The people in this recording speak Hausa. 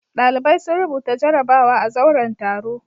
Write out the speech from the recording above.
Ɗalibai sun rubuta jarabawa a zauren taro.